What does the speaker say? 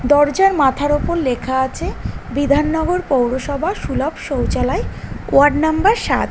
দরজার মাথার উপর লেখা আছে বিধাননগর পৌরসভা সুলভ শৌচালয় ওয়ার্ড নম্বর সাত।